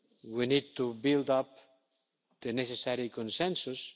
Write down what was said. We need to build up the necessary consensus.